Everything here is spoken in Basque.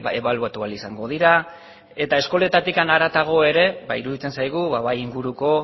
ebaluatua ahal izango dira eta eskoletatik harago ere ba iruditzen zaigu ba bai inguruko